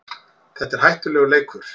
Þetta er hættulegur leikur